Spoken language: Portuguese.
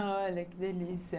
Olha, que delícia.